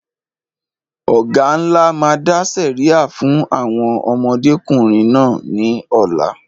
Ọ̀gá ńlá máa dá sẹ̀ríà fún àwọn ọmọdékùnrin náà ní ọ̀la